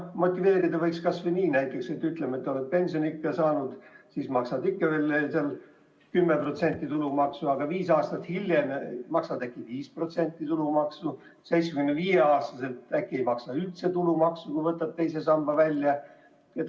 Motiveerida võiks kasvõi näiteks nii, et kui oled äsja pensioniikka jõudnud, siis maksad ikka veel 10% tulumaksu, aga viis aastat hiljem maksad juba näiteks 5% tulumaksu ja 75-aastaselt ei maksa üldse tulumaksu, kui võtad II sambast raha välja.